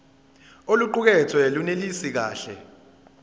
oluqukethwe lunelisi kahle